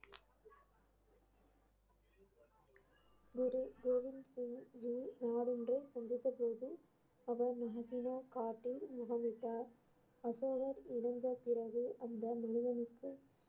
குரு கோவிந்த் சிங் ஜி சந்தித்த போது அவர் காட்டில் முகமிட்டார் அசோகர் இறந்த பிறகு அந்த முனிவனுக்கு